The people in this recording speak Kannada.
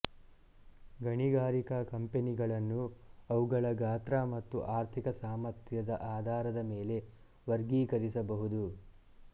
ಗಣಿಗಾರಿಕಾ ಕಂಪನಿಗಳನ್ನು ಅವುಗಳ ಗಾತ್ರ ಮತ್ತು ಆರ್ಥಿಕ ಸಾಮರ್ಥ್ಯದ ಆಧಾರದ ಮೇಲೆ ವರ್ಗೀಕರಿಸಬಹುದು